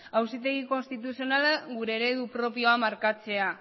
auzitegi konstituzionalak gure eredu propioa markatzea